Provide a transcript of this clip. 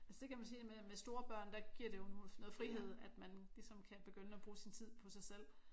Altså det kan man sige det med store børn der giver det jo noget frihed at man ligesom kan begynde at bruge sin tid på sig selv